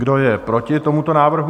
Kdo je proti tomuto návrhu?